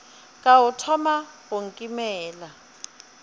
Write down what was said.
ka o thoma go nkimela